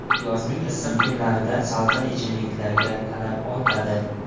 Yozning issiq kunlarida salqin ichimliklarga talab ortadi.